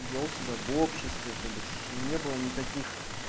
делал себя в обществе тобыш не было никаких